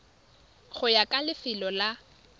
go ya ka lefelo la